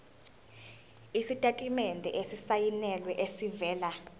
isitatimende esisayinelwe esivela